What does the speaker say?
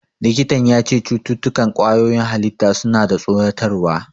Likitan ya ce "Cututtukan ƙwayoyin halitta suna da tsoratarwa".